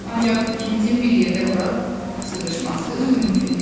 Ancaq ikimizin bir yerdə bura sığışması mümkün deyil.